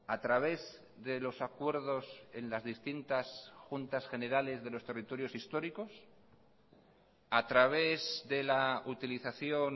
a través de los acuerdos en las distintas juntas generales de los territorios históricos a través de la utilización